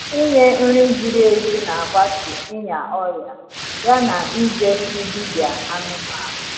ỉnye nri ziri ezi n’agbatu ịnya ọria ya na ịje fụ dibia anụmanụ